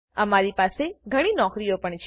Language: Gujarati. અમારી પસે ઘણી નોકરીઓ પણ છે